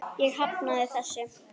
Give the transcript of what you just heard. Ég hafnaði þessu.